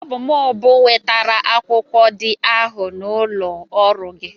Ọ bụ m bụ wetara akwụkwọ dị ahụ n'ụlọ ọrụ gị.